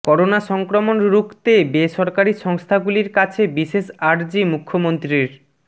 corona সংক্রমণ রুখতে বেসরকারি সংস্থাগুলির কাছে বিশেষ আর্জি মুখ্যমন্ত্রীর